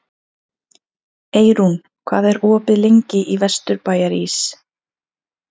Eyrún, hvað er opið lengi í Vesturbæjarís?